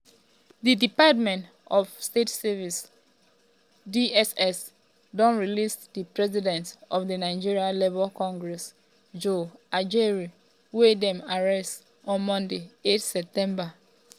di department of state services (dss) don release di president of di nigeria labour congress joe ajaero wey dem arrest um on monday 8 september.